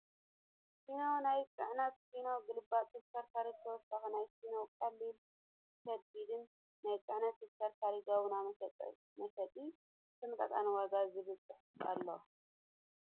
ሲኖ ናይ ፅዕነት ፣ ሲኖ ገልባጭ ተሽከርካሪ ብተወሳኪ ናይ ሲኖ ቀሊል ና ከቢድ ናይ ፅዕነት ተሽከርካሪ ጋቤና መሸጢ ብተምጣጣኒ ዋጋ ዝብል ፅሑፍ ኣሎ።